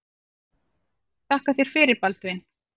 Þakka þér fyrir Baldvin.